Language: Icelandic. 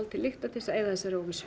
til lykta til að eyða þessari óvissu